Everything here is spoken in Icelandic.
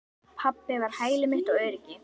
Pabbi var hæli mitt og öryggi.